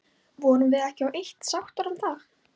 Vorum við ekki á eitt sáttar um það?